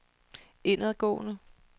indadgående